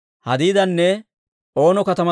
Imeera yaratuu 1,052;